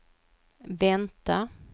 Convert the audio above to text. vänta